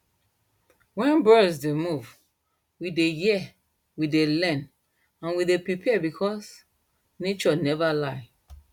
wen birds d move we dey hear we dey learn and we dey prepare becos nature never lie